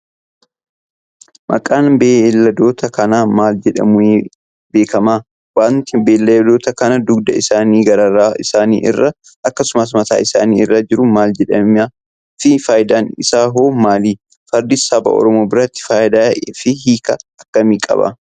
Maqaan beeyladoota kanaa maal jedhamuun beekama? Wanti beeyladoota kana dugda isaanii, garaa isaanii irra, akkasumas mataa isaanii irra jiru maal jedhama fi faayidaan isaa hoo maali? Fardi saba oromoo biratti faayidaa fi hiika akkamii qaba?